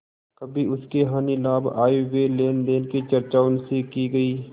कभी उसके हानिलाभ आयव्यय लेनदेन की चर्चा उनसे की गयी